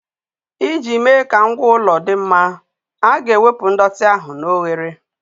Iji mee ka ngwa ụlọ dị mma, a ga-ewepụ ndọtị ahụ na oghere.